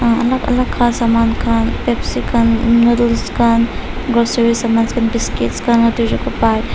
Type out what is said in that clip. emm alak alak kaa saman khan pepsi khan noodles khan groceries saman khan biscuits khan Lotte chocopi.